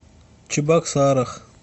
чебоксарах